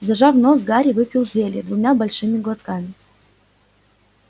зажав нос гарри выпил зелье двумя большими глотками